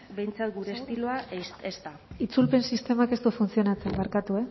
behintzat gure estiloa ez da segundutxo bat itzulpen sistemak ez du funtzionatzen barkatu